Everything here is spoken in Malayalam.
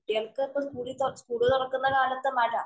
കുട്ടികള്‍ക്ക് ഇപ്പൊ സ്കൂളി പോ സ്കൂള് തുറക്കുന്ന കാലത്ത് മഴ